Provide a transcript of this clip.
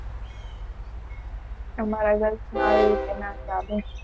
એને એ Work માં એ ના ચાલે